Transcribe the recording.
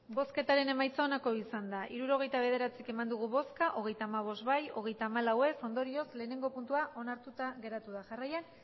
hirurogeita bederatzi eman dugu bozka hogeita hamabost bai hogeita hamalau ez ondorioz lehenengo puntua onartuta geratu da jarraian